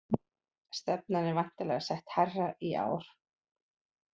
Stefnan er væntanlega sett hærra í ár?